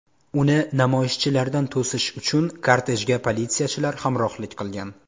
Uni namoyishchilardan to‘sish uchun kortejga politsiyachilar hamrohlik qilgan.